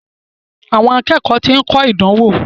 Àwọn akẹ́kọ̀ọ́ ti ń kọ ìdánwò.